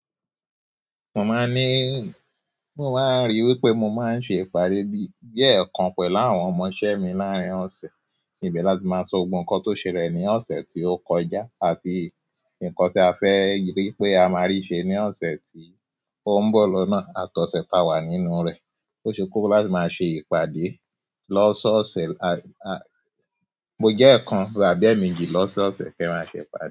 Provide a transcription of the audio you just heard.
Mo máa ní, mo máa ń rí i wípé mo máa ń ṣe ìpàdé bí, bíi ẹ̀ẹ̀kan pẹ̀lú àwọn ọmọṣẹ́ mi láàárín ọ̀sẹ̀. Níbi láti máa sọ gbogbo kan tó ṣẹlẹ̀ ní ọ̀sẹ̀ tí ó kọjá àti nǹkan tí a fẹ́ rí pé a máa rí ṣe ní ọ̀sẹ̀ tí ó ń bọ̀ lọ́nà àtọ̀sẹ́ ta wà nínú rẹ̀. Ó ṣe kókó láti máa ṣe ìpàdé lọ́sọ́ ọ̀sẹ̀ la, la-- mo jẹ́ ẹ̀ẹ̀kan rà bíi èéméjì lọ́sọ́ ọ̀sẹ̀ kí a máa ṣe ìpàdé.